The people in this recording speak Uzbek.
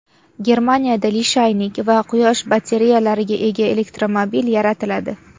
Germaniyada lishaynik va quyosh batareyalariga ega elektromobil yaratiladi.